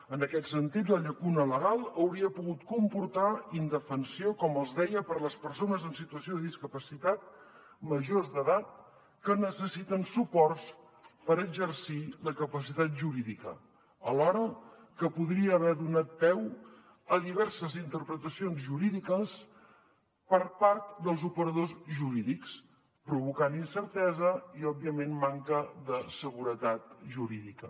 en aquest sentit la llacuna legal hauria pogut comportar indefensió com els deia per a les persones en situació de discapacitat majors d’edat que necessiten suports per exercir la capacitat jurídica alhora que podria haver donat peu a diverses interpretacions jurídiques per part dels operadors jurídics provocant incertesa i òbviament manca de seguretat jurídica